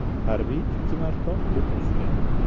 Harbiy ikki marta o‘q uzgan.